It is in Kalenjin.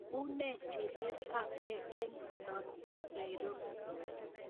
Une chilet ap ge en olon bo nairobi